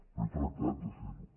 però he tractat de fer ho